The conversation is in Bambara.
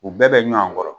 U bɛɛ bɛ ɲɔn kɔrɔ